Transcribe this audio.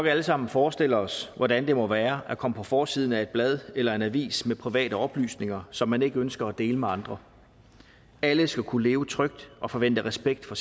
alle sammen forestille os hvordan det må være at komme på forsiden af et blad eller en avis med private oplysninger som man ikke ønsker at dele med andre alle skal kunne leve trygt og forvente respekt for